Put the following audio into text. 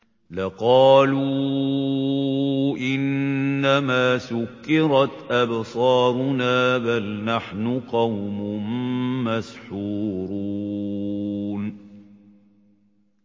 لَقَالُوا إِنَّمَا سُكِّرَتْ أَبْصَارُنَا بَلْ نَحْنُ قَوْمٌ مَّسْحُورُونَ